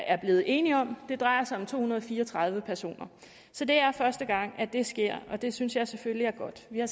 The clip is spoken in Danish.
er blevet enige om det drejer sig om to hundrede og fire og tredive personer så det er første gang det sker og det synes jeg selvfølgelig er godt vi har